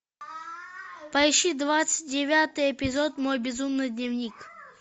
поищи двадцать девятый эпизод мой безумный дневник